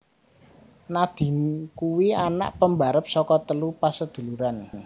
Nadine kuwi anak pembarep saka telu pasaduluran